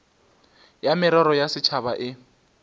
ya merero ya setšhaba e